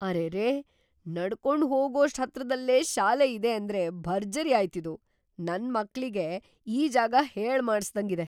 ಅರೆರೇ! ನಡ್ಕೊಂಡ್‌ ಹೋಗೋಷ್ಟ್ ಹತ್ರದಲ್ಲೇ ಶಾಲೆ ಇದೆ ಅಂದ್ರೆ ಭರ್ಜರಿ ಆಯ್ತಿದು! ನನ್‌ ಮಕ್ಳಿಗೆ ಈ ಜಾಗ ಹೇಳ್‌ ಮಾಡಿಸ್ದಂಗಿದೆ.